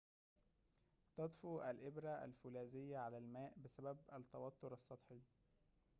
تطفو الإبرة الفولاذيّة على الماء بسبب التوتّر السطحي